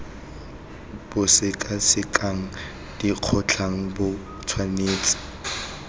bo sekasekang dikgotlang bo tshwanetse